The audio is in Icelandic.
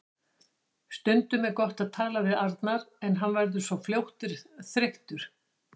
Stundum er gott að tala við Arnar en hann verður svo fljótt þreyttur.